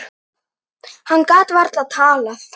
Hann gat varla talað.